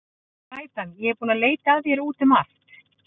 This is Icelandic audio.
Glætan, ég er búin að leita að þér út um allt.